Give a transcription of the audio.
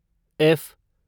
F